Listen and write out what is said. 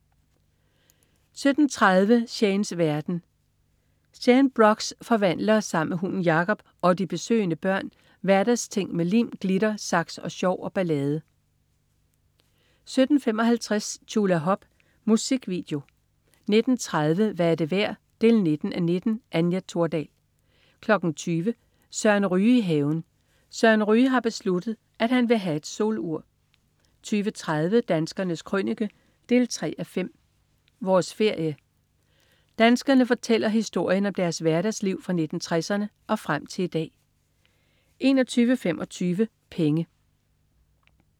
17.30 Shanes verden. Shane Brox forvandler sammen med hunden Jacob og de besøgende børn hverdagsting med lim, glitter, saks, sjov og ballade 17.55 Tjulahop. Musikvideo 19.30 Hvad er det værd? 19:19. Anja Thordal 20.00 Søren Ryge i haven. Søren Ryge har besluttet, at han vil have et solur 20.30 Danskernes Krønike 3:5. Vores ferie. Danskerne fortæller historien om deres hverdagsliv fra 1960'erne og frem til i dag 21.25 Penge